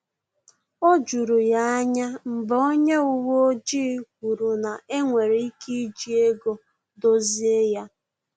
O juru ya anya mgbe onye uwe ojii kwuru na enwere ike iji ego dozie ya